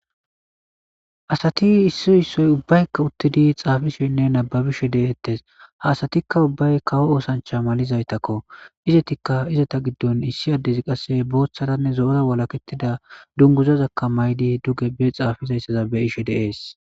Asati ubay isoy isuwara xelishenne nababishen bettes ha asatikka ubay kawo malatizaytakko izatikka izatta giddon boththaranne zo'ora walaketizza dunguzaza mayidi xafizayssa be'ays.